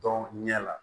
Dɔn ɲɛ la